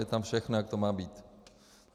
Je tam všechno, jak to má být.